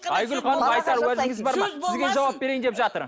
айгүл ханым айтар уәжіңіз бар ма сізге жауап берейін деп жатыр